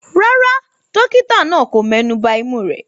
Rárá, dókítà náà kò mẹ́nuba imú rẹ̀.